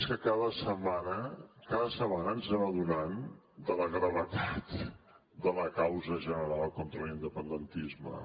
és que cada setmana ens anem adonant de la gravetat de la causa general contra l’independentisme